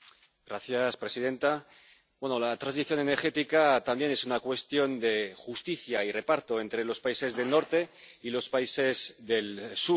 Señora presidenta, la transición energética también es una cuestión de justicia y reparto entre los países del Norte y los países del Sur.